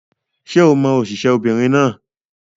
Ṣé o mọ òṣèré obìnrin náà?